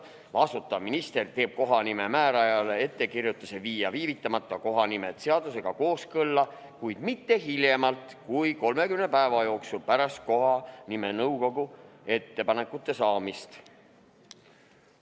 Vastutav minister teeb kohanimemäärajale ettekirjutuse viia viivitamata kohanimed seadusega kooskõlla, kuid mitte hiljemalt kui 30 päeva jooksul pärast kohanimenõukogu ettepanekute saamist.